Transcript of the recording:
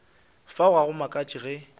fao ga go makatše ge